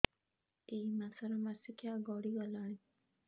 ଏଇ ମାସ ର ମାସିକିଆ ଗଡି ଗଲାଣି